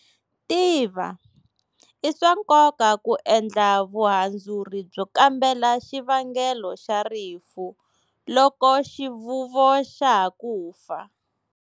Tiva-I swa nkoka ku endla vuhandzuri byo kambela xivangelo xa rifu loko xivuvo xa ha ku fa.